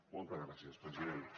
moltes gràcies president